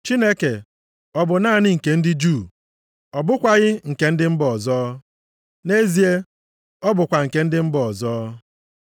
Chineke ọ bụ naanị nke ndị Juu? Ọ bụkwaghị nke ndị mba ọzọ? Nʼezie, ọ bụkwa nke ndị mba ọzọ.